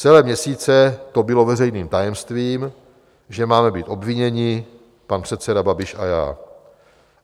Celé měsíce to bylo veřejným tajemstvím, že máme být obviněni, pan předseda Babiš a já.